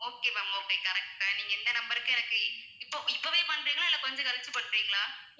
okay ma'am okay correct தான் நீங்க இந்த number க்கே எனக்கு இப்போ இப்போவே பண்றீங்களா இல்ல கொஞ்சம் கழிச்சி பண்றீங்களா?